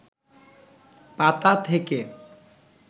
পাতা থেকে